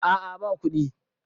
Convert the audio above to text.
a a ba kuɗi